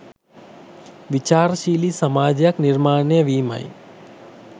විචාරශීලි සමාජයක් නිර්මාණය වීමයි.